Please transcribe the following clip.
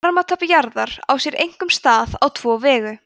varmatap jarðar á sér einkum stað á tvo vegu